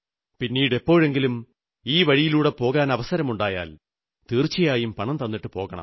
പിന്നീടെപ്പോഴെങ്കിലും ഈ വഴിയിലൂടെ പോകാനവസരമുണ്ടായാൽ തീർച്ചയായും പണം തന്നിട്ടു പോകണം